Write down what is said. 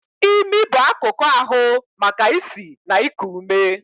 Imi bụ akụkụ ahu maka isi na iku ume.